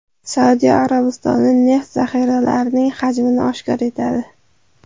Saudiya Arabistoni neft zaxiralarining hajmini oshkor etadi.